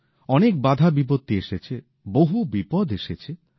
অনেক বাধা বিপত্তি এসেছে বহু বিপদ এসেছে